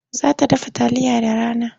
Za ta dafa taliya da rana.